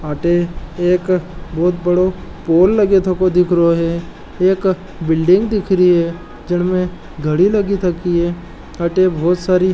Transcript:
अठे एक बोहोत बड़ो पोल लगे थको दिखरो है एक बिल्डिंग दिखरी है जिनमे घडी लगि थकी है अठे बोहोत सारी --